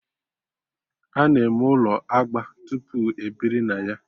Ana eme ụlọ agba tupu ebiri na ya